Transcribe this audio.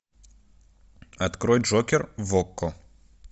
открой джокер в окко